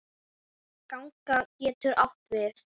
Ganga getur átt við